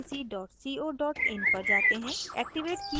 अब